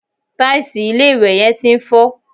Tàìsì ilé-ìwẹ̀ yẹn ti ń fọ́